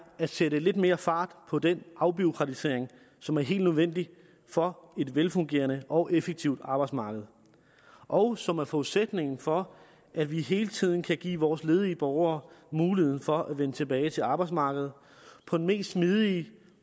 at sætte lidt mere fart på den afbureaukratisering som er helt nødvendig for et velfungerende og effektivt arbejdsmarked og som er forudsætningen for at vi hele tiden kan give vores ledige borgere mulighed for at vende tilbage til arbejdsmarkedet på den mest smidige